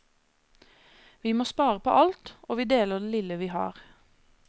Vi må spare på alt, og vi deler det lille vi har.